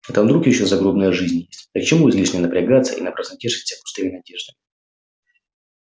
а там вдруг ещё загробная жизнь есть так к чему излишне напрягаться и напрасно тешить себя пустыми надеждами